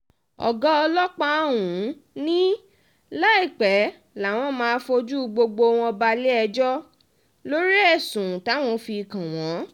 ọ̀gá ọlọ́pá ọ̀hún ni láìpẹ́ làwọn máa fojú gbogbo wọn balẹ̀-ẹjọ́ lórí ẹ̀sùn táwọn fi kàn wọ́n